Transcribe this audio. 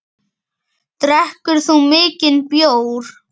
Drekkur þú mikinn bjór?